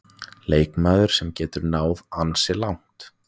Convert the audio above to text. Leikmaður sem getur náð ansi langt.